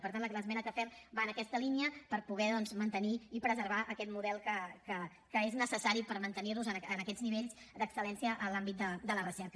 i per tant l’esmena que fem va en aquesta línia per poder doncs mantenir i preservar aquest model que és necessari per mantenir nos en aquests nivells d’excel·lència en l’àmbit de la recerca